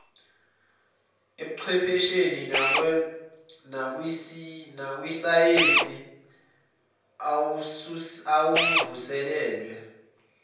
ebuchwephesheni nakwisayense awavuselelwe